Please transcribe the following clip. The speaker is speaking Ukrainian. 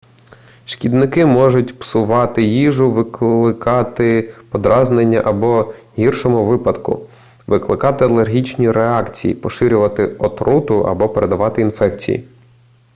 шкідники можуть псувати їжу викликати подразнення або в гіршому випадку викликати алергічні реакції поширювати отруту або передавати інфекції